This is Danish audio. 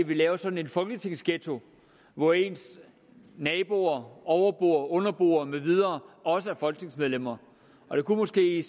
vi laver sådan en folketingsghetto hvor ens naboer overboer underboer med videre også er folketingsmedlemmer det kunne måske